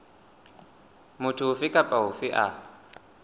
motho ofe kapa ofe a